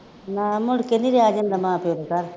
ਨਾ ਮੁੜਕੇ ਨਹੀਂ ਰਿਹਾ ਜਾਂਦਾ ਮਾਂ ਪਿਉ ਦੇ ਘਰ